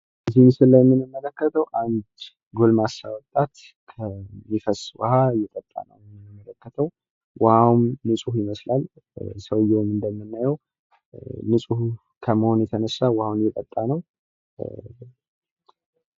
እዚህ ምስል ላይ እንደምንመለከተዉ አንድ ጎልማሳ ወጣት ከሚፈስ ዉሃ እየጠታ ነው የምንመለከተው ፤ ዉሃዉ ንጹህ ይመስላል ፤ ሰዉየዉም እንደምናየዉ ንጹህ ከመሆኑ የተነሳ ዉሃዉን እየጠጣ ነው።